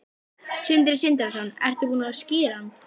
Sindri Sindrason: Ertu búin að skíra hann?